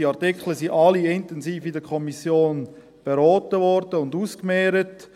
Die Artikel wurden in der Kommission alle intensiv beraten und ausgemehrt.